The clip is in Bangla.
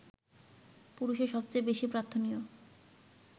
পুরুষের সবচেয়ে বেশি প্রার্থনীয়